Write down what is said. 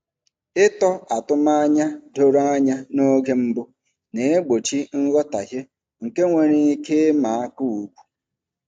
Ịtọ atụmanya doro anya n’oge mbụ na-egbochi nghọtahie nke nwere ike ịma aka ugwu.